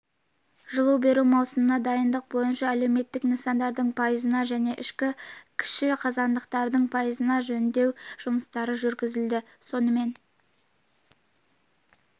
жылу беру маусымына дайындық бойынша әлеуметтік нысандардың пайызына және ішкі кіші қазандықтардың пайызына жөндеу жұмыстары жүргізілді сонымен